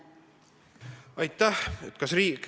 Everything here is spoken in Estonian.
Aitäh!